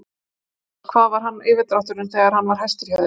Jón Örn: Hvað var yfirdrátturinn þegar hann var hæstur hjá þér?